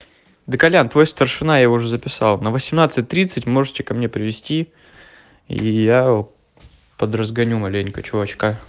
да колян твой старшина его уже записал на восемнадцать тридцать можете ко мне привезти и я подразгоню маленько чувачка